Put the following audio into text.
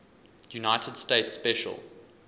united states special